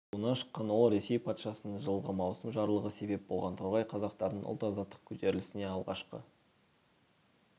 руынан шыққан ол ресей патшасының жылғы маусым жарлығы себеп болған торғай қазақтарының ұлт-азаттық көтерілісіне алғашқы